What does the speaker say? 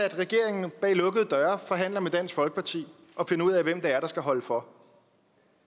regeringen bag lukkede døre forhandler med dansk folkeparti og finder ud af hvem det er der skal holde for